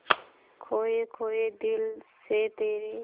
खोए खोए दिल से तेरे